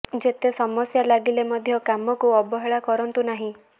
ଯେତେ ସମସ୍ୟା ଲାଗିଲେ ମଧ୍ୟ କାମକୁ ଅବହେଳା କରନ୍ତୁ ନାହିଁ